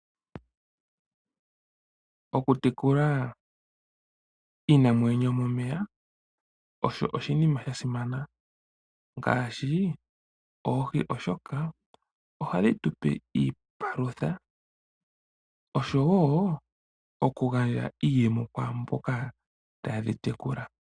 Okutekula iinamwenyo yomomeya osho oshinima sha simana ngaashi oohi, oshoka ohadhi tu pe iipalutha osho woo oku gandja iiyemo kwaamboka ta ye dhi tekula.